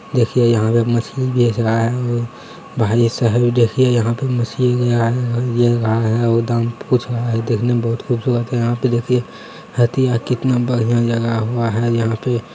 देखिये यहाँ पे मछली बेच रहा है भाई साहब ये देखिये यहाँ पे मछलियाँ गया है वो दाम पूछ रहा हैदेखने में बहुत खुबसूरत है यहाँ पे देखिये हतिया कितना बढ़िया जगह हुआ है यहाँ पे --